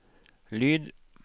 lyd